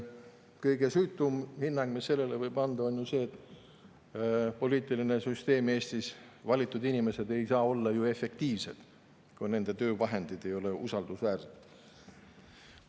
Kõige süütum hinnang, mis sellele võib anda, on ju see, et poliitiline süsteem Eestis, valitud inimesed ei saa olla efektiivsed, kui nende töövahendid ei ole usaldusväärsed.